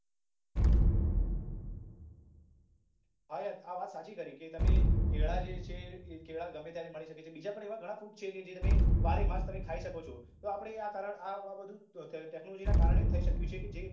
હા યાર આ વાત સાચી કરી કે તમે કેળા જે છે એ કેળા ગમે ત્યારે મળી શકે છે બીજાપણ એવા ઘણા fruit છે કે જે તમે બારેમાસ તમે ખાઈ શકો છો તો આપડે આ કારણ આ બધું technology ના કારણે જ થઇ શક્યું છે કે જે